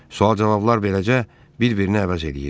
Sual-cavablar beləcə bir-birini əvəz eləyirdi.